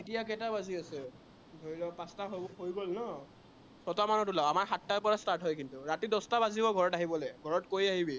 কেইটা বাজি আছে, ধৰি ল পাঁচটা হম হৈ গল ন? ছয়টা মানত ওলাও। আমাৰ সাতটাৰ পৰা start হয় কিন্তু। ৰাতি দহটা বাজিব ঘৰত আহিবলে, ঘৰত কৈ আহিবি